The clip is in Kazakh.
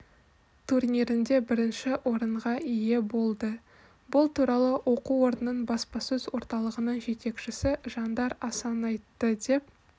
турнирінде бірінші орынға ие болды бұл туралы оқу орнының баспасөз орталығының жетекшісі жандар асанайтты деп